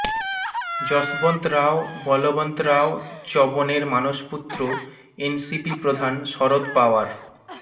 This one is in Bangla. যশবন্ত রাও বলবন্ত রাও চ্যবনের মানসপুত্র এনসিপি প্রধান শরদ পাওয়ার